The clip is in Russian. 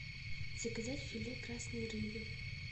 заказать филе красной рыбы